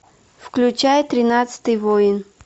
включай тринадцатый воин